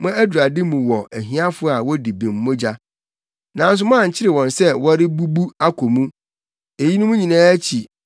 Mo adurade mu wɔ ahiafo a wodi bem mogya, nanso moankyere wɔn sɛ wɔrebubu akɔ mu. Eyinom nyinaa akyi